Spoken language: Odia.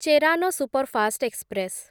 Cheran superfast express